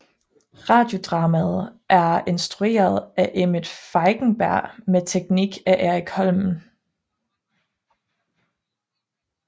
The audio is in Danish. Radiodramaet er instrueret af Emmet Feigenberg med teknik af Erik Holmen